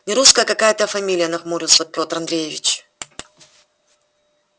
нерусская какая-то фамилия нахмурился петр андреевич